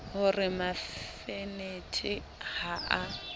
ho re mafanetha ha a